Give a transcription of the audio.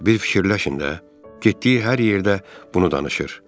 Bir fikirləşin də, getdiyi hər yerdə bunu danışır.